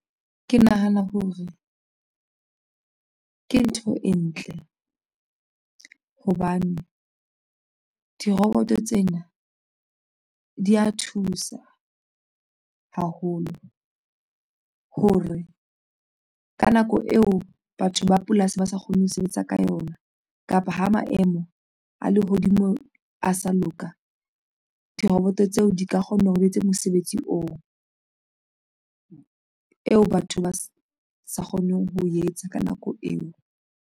Ke nahana hore ke ntho e ntle hobane diroboto tsena di ya thusa haholo hore ka nako eo batho ba polasi ba sa kgoneng ho sebetsa ka yona kapa ha maemo a lehodimo a sa loka diroboto tseo di ka kgona ho etsa mosebetsi oo eo batho ba sa kgoneng ho etsa ka nako eo.